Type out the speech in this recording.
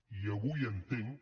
i avui entenc